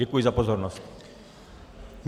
Děkuji za pozornost.